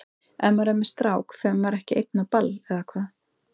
Ef maður er með strák fer maður ekki einn á ball, eða hvað?